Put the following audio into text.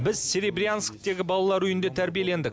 біз серебрянскідегі балалар үйінде тәрбиелендік